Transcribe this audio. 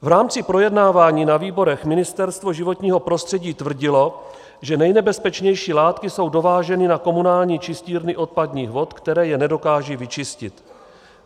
V rámci projednávání na výborech Ministerstvo životního prostředí tvrdilo, že nejnebezpečnější látky jsou dováženy na komunální čistírny odpadních vod, které je nedokážou vyčistit.